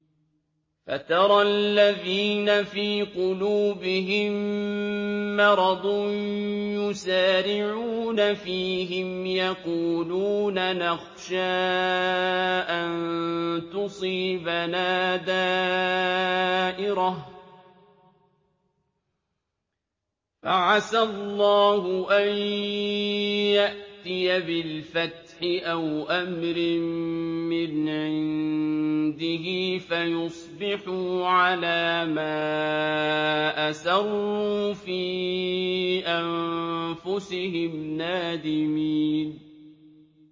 فَتَرَى الَّذِينَ فِي قُلُوبِهِم مَّرَضٌ يُسَارِعُونَ فِيهِمْ يَقُولُونَ نَخْشَىٰ أَن تُصِيبَنَا دَائِرَةٌ ۚ فَعَسَى اللَّهُ أَن يَأْتِيَ بِالْفَتْحِ أَوْ أَمْرٍ مِّنْ عِندِهِ فَيُصْبِحُوا عَلَىٰ مَا أَسَرُّوا فِي أَنفُسِهِمْ نَادِمِينَ